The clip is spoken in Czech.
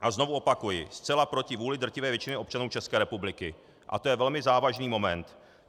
A znovu opakuji, zcela proti vůli drtivé většiny občanů České republiky a to je velmi závažný moment.